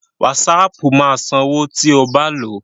Wásaapù máa sanwó tí o bá lòó.